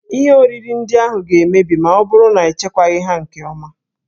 Ihe oriri ndị ahụ ga-emebi ma ọ bụrụ na echekwaghị ha nke ọma.